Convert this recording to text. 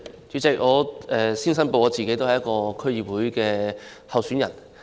主席，首先我作出申報，我是一名區議會選舉候選人。